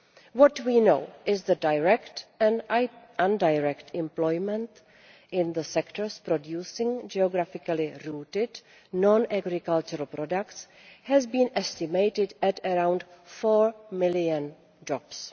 What we do know is that direct and indirect employment in the sectors producing geographically rooted non agricultural products has been estimated at around four million jobs.